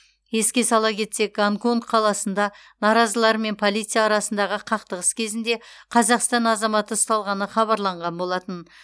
еске сала кетсек гонконг қаласында наразылар мен полиция арасындағы қақтығыс кезінде қазақстан азаматы ұсталғаны хабарланған болатын